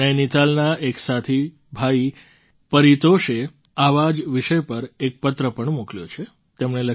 મને નૈનિતાલના એક સાથી ભાઈ પરિતોષે આવા જ વિષય પર એક પત્ર પણ મોકલ્યો છે